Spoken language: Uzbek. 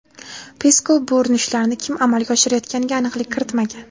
Peskov bu urinishlarni kim amalga oshirayotganiga aniqlik kiritmagan.